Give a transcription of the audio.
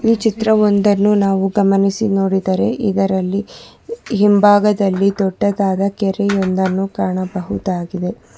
ಈ ಚಿತ್ರ ಒಂದನ್ನು ನಾವು ಗಮನಿಸಿ ನೋಡಿದರೆ ಇದರಲ್ಲಿ ಹಿಂಭಾಗದಲ್ಲಿ ದೊಡ್ಡದಾದ ಕೆರೆಯೊಂದನ್ನು ಕಾಣಬಹುದಾಗಿದೆ.